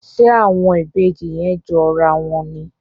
Ṣe àwọn Ìbejì yén jọ rà wón ní?